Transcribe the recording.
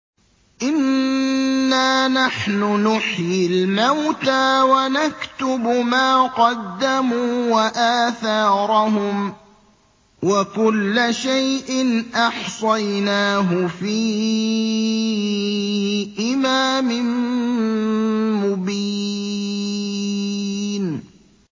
إِنَّا نَحْنُ نُحْيِي الْمَوْتَىٰ وَنَكْتُبُ مَا قَدَّمُوا وَآثَارَهُمْ ۚ وَكُلَّ شَيْءٍ أَحْصَيْنَاهُ فِي إِمَامٍ مُّبِينٍ